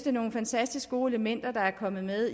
er nogle fantastisk gode elementer der er kommet med